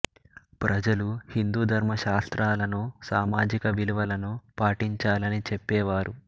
ప్రజలు హిందూ ధర్మ శాస్త్రాలను సామాజిక విలువలను పాటించాలని చెప్పేవారు